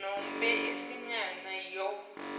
nobe incenye yayo